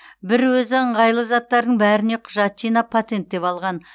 бір өзі ыңғайлы заттардың бәріне құжат жинап патенттеп алған